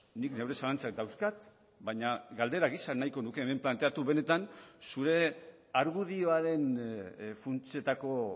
nik neure zalantzak dauzkat baina galdera gisa nahiko nuke hemen planteatu benetan zure argudioaren funtsetako